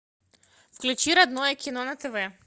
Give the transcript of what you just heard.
включи родное кино на тв